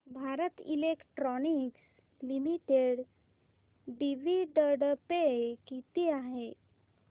Bharat electronics limited dividend pay किती आहे